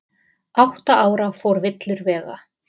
Átta ára fór villur vega